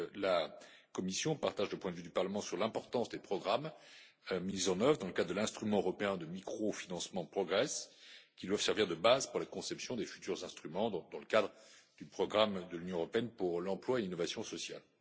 La Commission partage le point de vue du Parlement sur l'importance des programmes mis en œuvre dans le cadre de l'instrument européen de microfinancement Progress, qui doivent servir de base pour la conception des futurs instruments dans le cadre du programme de l'Union européenne pour l'emploi et l'innovation sociale.